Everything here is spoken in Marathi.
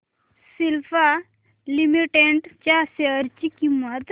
सिप्ला लिमिटेड च्या शेअर ची किंमत